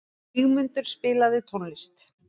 Vígmundur, spilaðu tónlist.